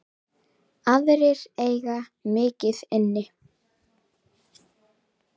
Aðrir eiga mikið inni.